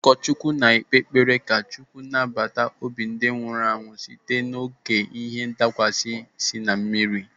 Ụkọchukwu na-ekpe ekpere maka ka Chukwu nabata obi ndị nwụrụ site n'oké ihe ndakwasa sị na mmiri.